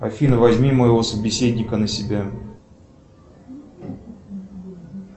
афина возьми моего собеседника на себя